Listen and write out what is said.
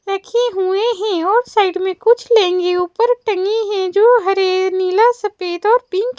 रखे हुए हैं और साइड में कुछ लेंगे ऊपर टनी है जो नीला सफेद और पिंक --